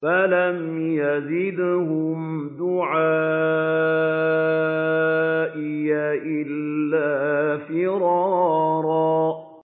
فَلَمْ يَزِدْهُمْ دُعَائِي إِلَّا فِرَارًا